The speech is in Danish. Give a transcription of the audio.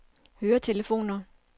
høretelefoner